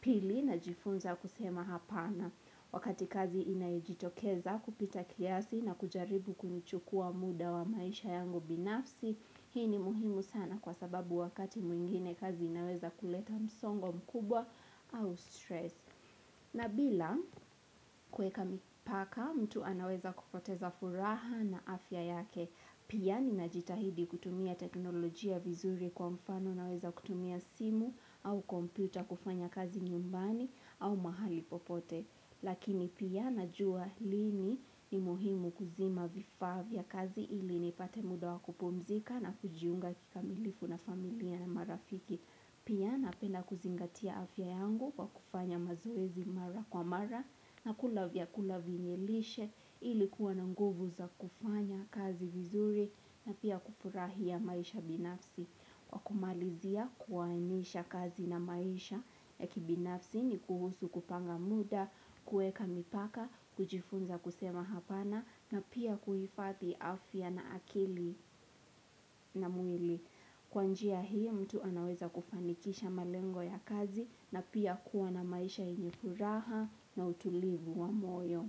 Pili na jifunza kusema hapana, wakati kazi inajitokeza kupita kiasi na kujaribu kunichukua muda wa maisha yangu binafsi, hii ni muhimu sana kwa sababu wakati mwingine kazi inaweza kuleta msongo mkubwa au stress. Na bila kweka mipaka mtu anaweza kupoteza furaha na afya yake. Pia ni najitahidi kutumia teknolojia vizuri kwa mfano na weza kutumia simu au kompyuta kufanya kazi nyumbani au mahali popote. Lakini pia najua lini ni muhimu kuzima vifaa vya kazi ili nipate muda wakupumzika na kujiunga kikamilifu na familia na marafiki. Pia napena kuzingatia afya yangu kwa kufanya mazoezi mara kwa mara na kula vyakula vyenyelishe ili kuwa na nguvu za kufanya kazi vizuri na pia kufurahia maisha binafsi. Kwa kumalizia kuwaenisha kazi na maisha ya kibinafsi ni kuhusu kupanga muda, kueka mipaka, kujifunza kusemaapana na pia kuhifadha afya na akili na mwili. Kwa njia hii mtu anaweza kufanikisha malengo ya kazi na pia kuwa na maisha yenye furaha na utulivu wa moyo.